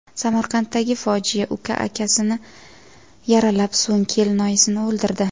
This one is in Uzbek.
Samarqanddagi fojia: Uka akasini yaralab, so‘ng kelinoyisini o‘ldirdi.